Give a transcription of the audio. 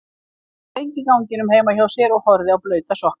Hann stóð lengi í ganginum heima hjá sér og horfði á blauta sokkana.